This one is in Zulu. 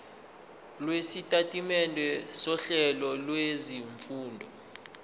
lwesitatimende sohlelo lwezifundo